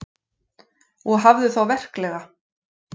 Og hafðu þá verklega.